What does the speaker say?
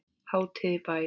Hátíð í bæ